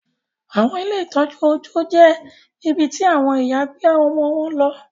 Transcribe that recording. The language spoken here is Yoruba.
Awọn ile itọju ọjọ jẹ ibití awọn ìyá gbé ọmọ wón ló